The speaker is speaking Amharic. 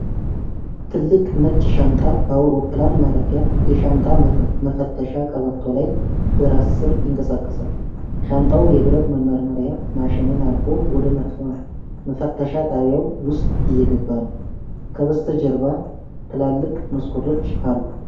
ትልቅ ነጭ ሻንጣ በአውሮፕላን ማረፊያ የሻንጣ መፈተሻ ቀበቶ ላይ በራስ-ሰር ይንቀሳቀሳል። ሻንጣው የብረት መመርመሪያ ማሽንን አልፎ ወደ መፈተሻ ጣቢያው ውስጥ እየገባ ነው፤ ከበስተጀርባ ትላልቅ መስኮቶች አሉ።